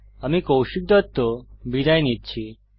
আমি কৌশিক দত্ত বিদায় নিচ্ছি